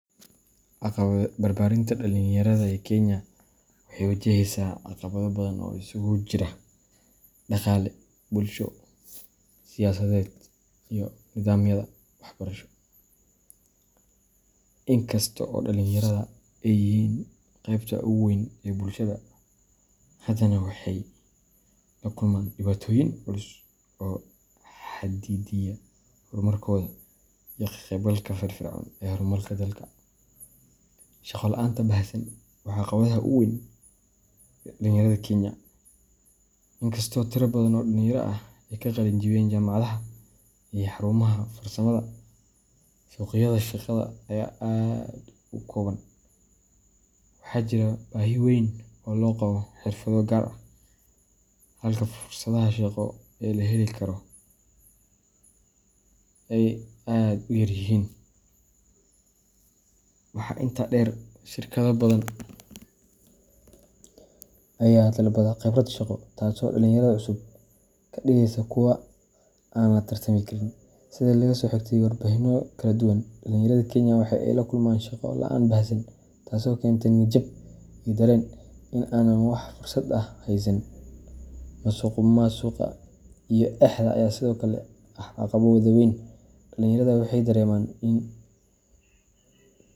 Barbaarinta dhalinyarada ee Kenya waxay wajahaysaa caqabado badan oo isugu jira dhaqaale, bulsho, siyaasadeed, iyo nidaamyada waxbarasho. Inkasta oo dhalinyarada ay yihiin qaybta ugu weyn ee bulshada, haddana waxay la kulmaan dhibaatooyin culus oo xaddidaya horumarkooda iyo ka qaybgalka firfircoon ee horumarka dalka. Shaqo la’aanta baahsan waa caqabadda ugu weyn ee dhalinyarada Kenya. Inkastoo tiro badan oo dhalinyaro ah ay ka qalin jebiyaan jaamacadaha iyo xarumaha farsamada, suuqyada shaqada ayaa aad u kooban. Waxaa jira baahi weyn oo loo qabo xirfado gaar ah, halka fursadaha shaqo ee la heli karo ay aad u yar yihiin. Waxaa intaa dheer, shirkado badan ayaa dalbada khibrad shaqo, taasoo dhalinyarada cusub ka dhigaysa kuwo aan la tartami karin. Sida laga soo xigtay warbixinno kala duwan, dhalinyarada Kenya waxay la kulmaan shaqo la’aan baahsan, taasoo keenta niyad jab iyo dareen ah in aanay wax fursad ah haysan. Musuqmaasuqa iyo eexda ayaa sidoo kale ah caqabado waaweyn. Dhalinyarada waxay dareemaan in.